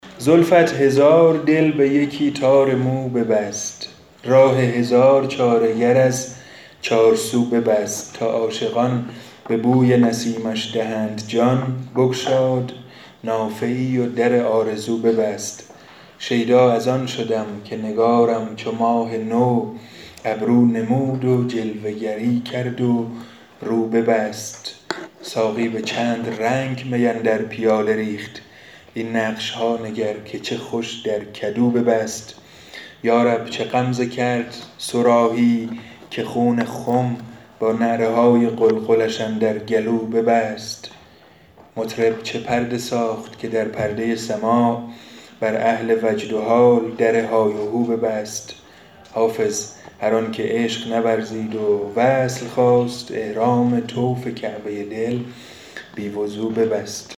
زلفت هزار دل به یکی تار مو ببست راه هزار چاره گر از چارسو ببست تا عاشقان به بوی نسیمش دهند جان بگشود نافه ای و در آرزو ببست شیدا از آن شدم که نگارم چو ماه نو ابرو نمود و جلوه گری کرد و رو ببست ساقی به چند رنگ می اندر پیاله ریخت این نقش ها نگر که چه خوش در کدو ببست یا رب چه غمزه کرد صراحی که خون خم با نعره های قلقلش اندر گلو ببست مطرب چه پرده ساخت که در پرده سماع بر اهل وجد و حال در های وهو ببست حافظ هر آن که عشق نورزید و وصل خواست احرام طوف کعبه دل بی وضو ببست